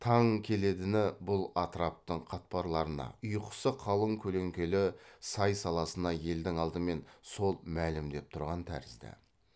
таң келедіні бұл атыраптың қатпарларына ұйқысы қалың көлеңкелі сай саласына елдің алдымен сол мәлімдеп тұрған тәрізді